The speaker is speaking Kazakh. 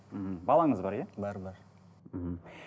мхм балаңыз бар иә бар бар мхм